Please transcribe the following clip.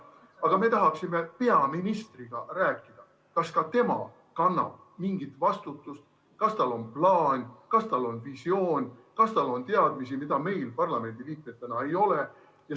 Aga me tahaksime peaministriga rääkida, et teada, kas ka tema kannab mingit vastutust, kas tal on plaan, kas tal on visioon, kas tal on teadmisi, mida meil parlamendiliikmetena ei ole.